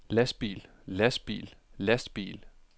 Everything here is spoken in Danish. lastbil lastbil lastbil